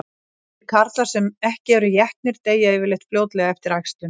Þeir karlar sem ekki eru étnir deyja yfirleitt fljótlega eftir æxlun.